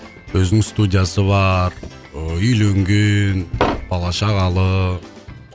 өзінің студиясы бар ыыы үйленген бала шағалы